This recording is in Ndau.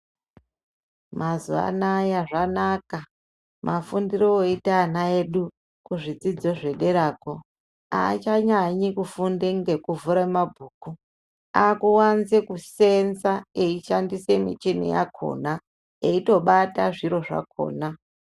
Mazuwa anaya zvanaka mafundire oite ana edu kuzvidzidzo zvederako achanyanyi kufunde ngekuvhure mabhuku akuwanze kusenza eishandise michini yakona eitobata zviro zvakona.